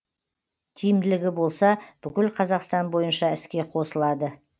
тиімділігі болса бүкіл қазақстан бойынша іске қосылады